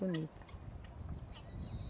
Bonita.